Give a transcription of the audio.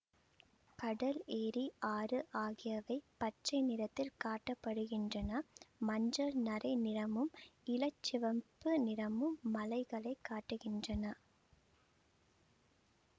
கடல் ஏரி ஆறு ஆகியவை பச்சை நிறத்தில் காட்ட படுகின்றன மஞ்சள் நரை நிறமும் இளச்சிவப்பு நிறமும் மலைகளைக் காட்டுகின்றன